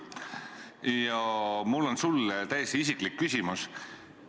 Ja mul on sulle täiesti isiklik küsimus.